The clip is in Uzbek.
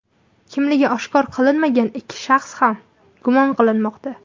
Kimligi oshkor qilinmagan yana ikki shaxs ham gumon qilinmoqda.